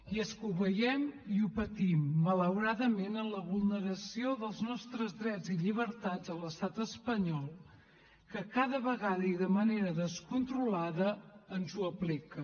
i és que ho veiem i ho patim malauradament en la vulneració dels nostres drets i llibertats a l’estat espanyol que cada vegada i de manera descontrolada ens ho apliquen